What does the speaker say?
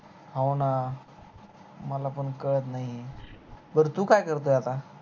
हो न मला पण कळत नाही बर तू काय करतोय आता